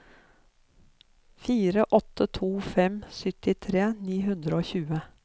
fire åtte to fem syttitre ni hundre og tjue